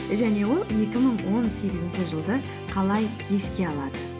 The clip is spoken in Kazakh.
және ол екі мың он сегізінші жылды қалай еске алады